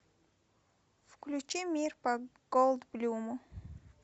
включи мир по голд блюму